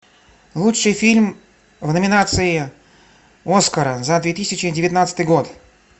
лучший фильм в номинации оскара за две тысячи девятнадцатый год